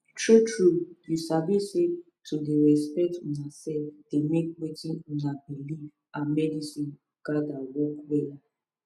true trueyou sabi say to dey respect una sef dey make wetin una believe and medicine gather work wella